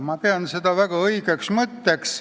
Ma pean seda väga õigeks mõtteks.